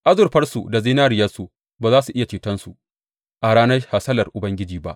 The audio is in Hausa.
Azurfarsu da zinariyarsu ba za su iya cetonsu a ranar hasalar Ubangiji ba.